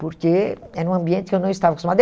Porque era um ambiente que eu não estava acostumada.